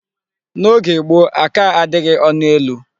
N'oge gboo, aka adịghị ọnụ elu.